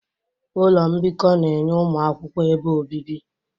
Ụlọ mbikọ na-enye ụmụ akwụkwọ ebe obibi.